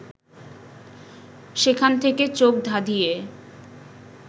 সেখান থেকে চোখ ধাঁধিয়ে